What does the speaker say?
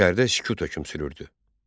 İçəridə sükut hökm sürürdü.